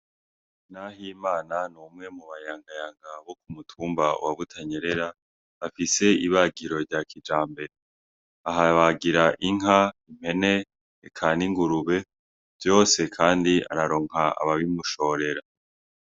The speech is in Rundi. Nahimana ni umwe mu bayankanka bo mutumba wa butanyerera bafise ibagiro rya kijambere ahabagira inka, impene canke ingurube vyose kandi araronka ababimushorera.